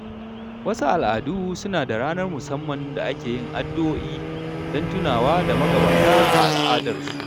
Wasu al’adu suna da ranar musamman da ake yin addu’o’i don tunawa da magabata a al’adarsu.